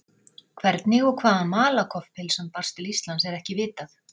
Hvernig og hvaðan Malakoff-pylsan barst til Íslands er ekki vitað.